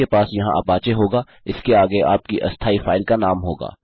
आपके पास यहाँ अपाचे होगा इसके आगे आपकी अस्थायी फाइल का नाम होगा